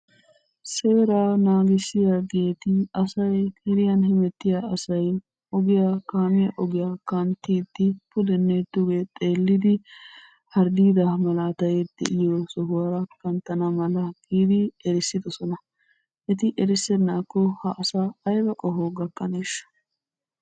Seeraa naagissiyageti asay geddiyaan hemettiyaa asay ogiyaa kaamiyaa ogiyaa kanttiidi puddenne dugge xeeliddi hardidda malatay deiyoo sohuwaara kanttana mala giidi erissiddoson. Eti erissenaako ha asaa ayba qohoy gakkaneesha?